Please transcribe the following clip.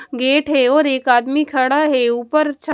gate है और एक आदमी खड़ा है ऊपर छत--